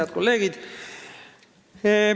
Head kolleegid!